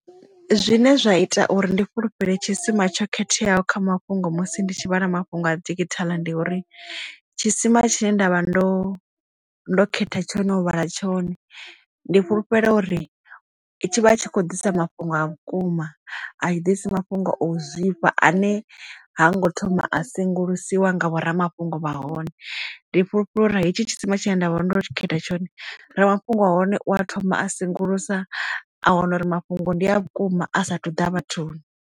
Zwine zwa ita uri ndi fhulufhele tshisima tsho khetheaho kha mafhungo musi ndi tshi vhala mafhungo a digithala ndi uri tshisima tshine nda vha ndo ndo khetha tshone u vhala tshone ndi fhulufhelo uri i tshi vha tshi khou ḓisa mafhungo a vhukuma a tshi ḓisi mafhungo o zwifha ane ha ngo thoma a sengulusiwa nga vhoramafhungo vha hone ndi fhulufhela uri hetshi tshisima tshine nda vha ndo tshi khetha tshone ramafhungo wa hone u a thoma a sengulusiwa a wana uri mafhungo ndi a vhukuma a sathu ḓa vhathuni.